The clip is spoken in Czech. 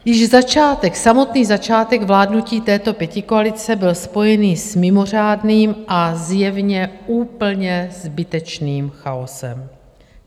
Již začátek, samotný začátek vládnutí této pětikoalice byl spojen s mimořádným a zjevně úplně zbytečným chaosem.